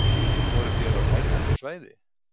Voruð þér á hernumdu svæði?